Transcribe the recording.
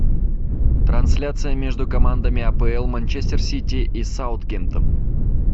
трансляция между командами апл манчестер сити и саутгемптон